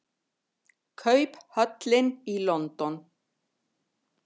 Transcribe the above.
Kauphöllin í London.